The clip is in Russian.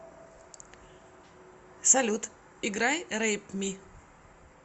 салют играй рэйп ми